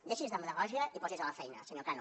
deixi’s de demagògia i posi’s a la feina senyor cano